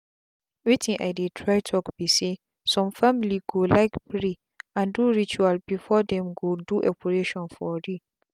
wetin i dey try talk be saysome family go like pray and do rituals before them go do operation for re